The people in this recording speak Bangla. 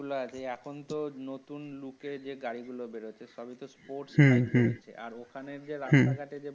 স্পোর্টস গাড়ি গুলো দেখছো হুম হুম আর ওখানে যে রাস্তাঘাটে যে।